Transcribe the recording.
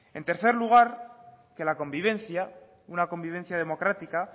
en tercer lugar que la convivencia una convivencia democrática